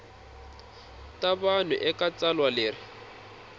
ta vanhu eka tsalwa leri